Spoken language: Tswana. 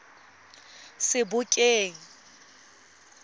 sebokeng